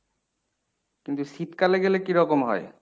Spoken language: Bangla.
কিন্তু শীতকালে গেলে কী রকম হয়?